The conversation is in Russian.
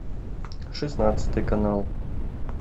шестнадцатый канал